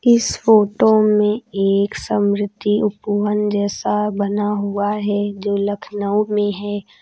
इस फोटो में एक समृद्धि उपवन जैसा बना हुआ है जो लखनऊ में है।